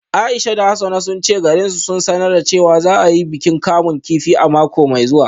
Aisha da Hassana sun ce garin sun sanar da cewa za a yi bikin kamun kifi a mako mai zuwa